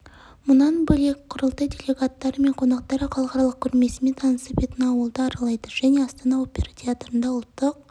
мұнан бөлек құрылтай делегаттары мен қонақтары халықаралық көрмесімен танысып этноауылды аралайды және астана опера театрында ұлттық